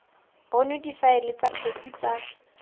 bonwe difaele tsa kgetse tsa